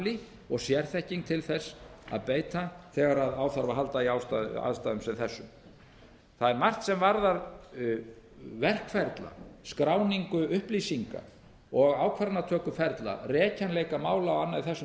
mannafli og sérþekking til þess að beita þegar á þarf að halda í aðstæðum sem þessum það er margt sem varðar verkferla skráningu upplýsinga og ákvarðanatökuferla rekjanleika mála og annað í þessum